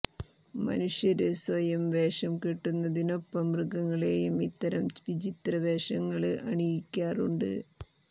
മനുഷ്യര് സ്വയം വേഷം കെട്ടുന്നതിനൊപ്പം മൃഗങ്ങളെയും ഇത്തരം വിചിത്ര വേഷങ്ങള് അണിയിക്കാറുണ്ട്